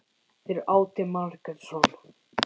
Fyrir átti Margrét son.